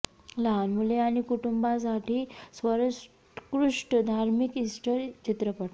लहान मुले आणि कुटुंबांसाठी सर्वोत्कृष्ट धार्मिक इस्टर चित्रपट